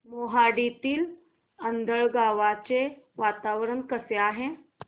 मोहाडीतील आंधळगाव चे वातावरण कसे आहे